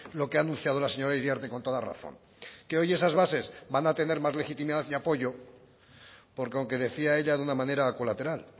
lo que ha anunciado la señora iriarte con toda razón que hoy esas bases van a tener más legitimidad y apoyo porque aunque decía ella de una manera colateral